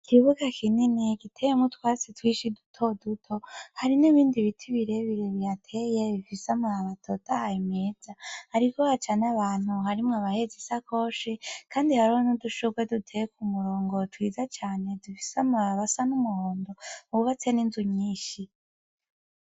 Ikibuga kinini giteyemwo utwatsi duto duto hari n' ibindi biti bire bire bihateye bifise amababi atotahaye meza hariko haca abantu harimwo bahetse udu sakoshi hamwe n' udushugwe duteye ku murongo twiza cane dufise amababi asa n' umuhondo hubatse n' inzu nyinshi.